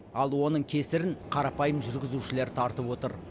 ал оның кесірін қарапайым жүргізушілер тартып отыр